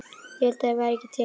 Ég vildi að þeir væru ekki til.